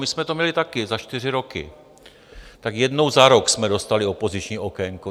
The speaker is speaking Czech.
My jsme to měli taky za čtyři roky, tak jednou za rok jsme dostali opoziční okénko.